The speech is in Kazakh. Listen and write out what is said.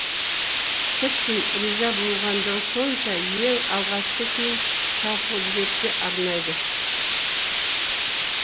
тіптен риза болғандығы сонша ең алғашқы күйін тауқұдіретке арнайды